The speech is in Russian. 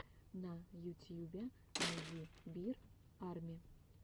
на ютьюбе найди бир арми